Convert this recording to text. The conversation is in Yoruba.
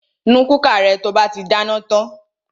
Nu kúkà rẹ to bá ti dáná tan!